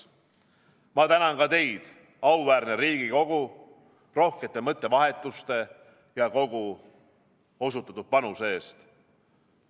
Ma tänan ka teid, auväärne Riigikogu, rohkete mõttevahetuste ja kogu osutatud panuse eest.